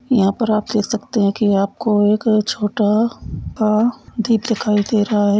यहाँ पर आप कह सकते है की आपको एक छोटा सा द्वीप दिखाई दे रहा है।